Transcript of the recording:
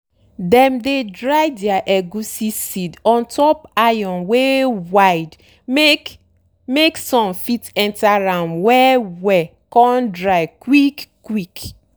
dem dey dry dere egusi seed ontop iron wey wide make make sun fit enter am well well con dry quick quick.